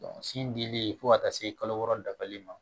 sin dili fo ka taa se kalo wɔɔrɔ dafalen ma